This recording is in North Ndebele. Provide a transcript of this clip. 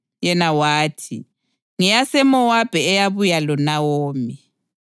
Yena wathi, “NgeyaseMowabi eyabuya loNawomi.